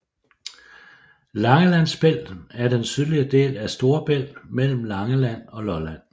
Langelandsbælt er den sydlige del af Storebælt mellem Langeland og Lolland